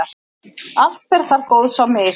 allt fer þar góðs á mis.